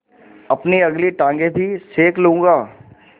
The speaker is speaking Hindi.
अपनी अगली टाँगें भी सेक लूँगा